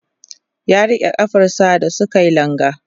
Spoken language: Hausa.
ya rike kafar sa da suke langa